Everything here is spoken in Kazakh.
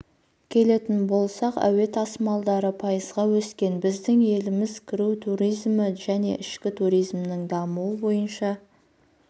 келетін болсақ әуе тасымалдары пайызға өскен біздің еліміз кіру туризмі және ішкі туризмнің дамуы бойынша